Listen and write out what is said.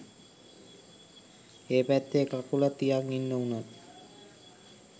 ඒ පැත්තෙ එක කකුලක් තියන් ඉන්න උන්